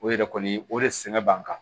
O yɛrɛ kɔni o de sɛgɛn b'an kan